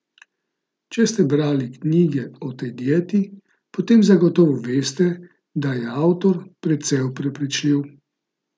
Če ste brali knjige o tej dieti, potem zagotovo veste, da je avtor precej prepričljiv.